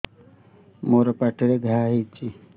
ମୋର ପାଟିରେ ଘା ହେଇଚି